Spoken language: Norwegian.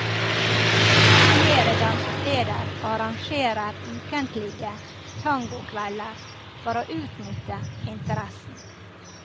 Flere dansesteder arrangerer ukentlige tangokvelder for å utnytte interessen.